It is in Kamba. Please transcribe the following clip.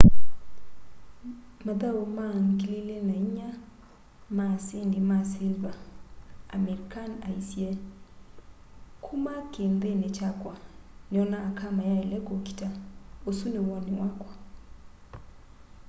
mathau ma 2004 ma asindi ma siliva amir khan aisye kuma kiinthini kyakwa niona aka mayaile kuukita usu ni woni wakwa